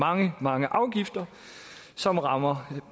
mange mange afgifter som rammer